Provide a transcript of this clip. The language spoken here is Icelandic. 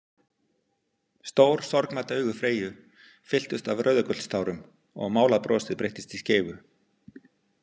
Stór sorgmædd augu Freyju fylltust af rauðagullstárum og málað brosið breyttist í skeifu.